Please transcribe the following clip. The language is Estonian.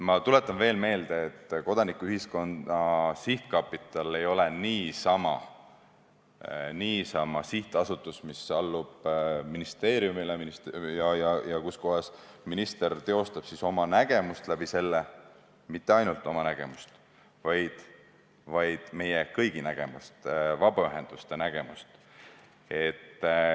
Ma tuletan veel kord meelde, et Kodanikuühiskonna Sihtkapital ei ole niisama sihtasutus, mis allub ministeeriumile ja mille kaudu minister teostab oma nägemust – ta ei peaks teostama mitte ainult oma nägemust, vaid meie kõigi nägemust, vabaühenduste nägemust.